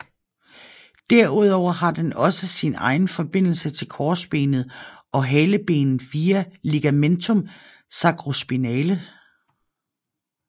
Derudover har den også sin egen forbindelse til korsbenet og halebenet via ligamentum sacrospinale